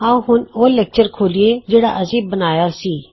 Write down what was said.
ਆਉ ਹੁਣ ਉਹ ਲੈਕਚਰ ਖੋਲੀਏ ਜਿਹੜਾ ਅਸੀਂ ਬਣਾਇਆ ਸੀ